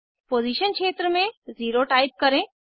position क्षेत्र में 0 type करें